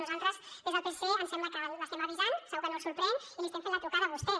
nosaltres des del psc ens sembla que l’estem avisant segur que no el sorprèn i li estem fent la trucada a vostè